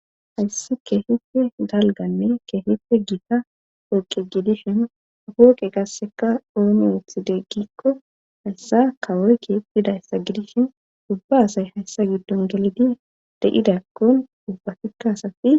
hayssi keefife dalganne keefife giita pooqe gidishin pooqe qaasseka ooni wuthi deggikko hayssa kawoy keepphidayssa gidishin dubba asay hayssa giddon gelidi de7idakkon ubbatikkaasafi